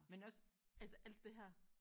Men også altså alt det her